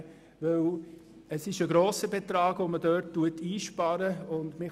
Denn es handelt sich um einen grossen einzusparenden Betrag.